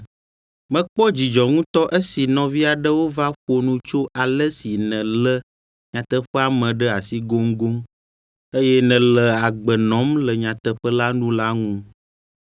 Mekpɔ dzidzɔ ŋutɔ esi nɔvi aɖewo va ƒo nu tso ale si nèlé nyateƒea me ɖe asi goŋgoŋ, eye nèle agbe nɔm le nyateƒe la nu la ŋu.